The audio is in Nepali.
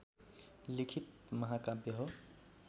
लिखित महाकाव्य हो